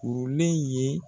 Kurulen ye.